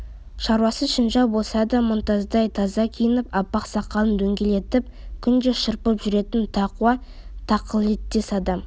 шаруасы шінжәу болса да мұнтаздай таза киініп аппақ сақалын дөңгелентіп күнде шырпып жүретін тақуа тақылеттес адам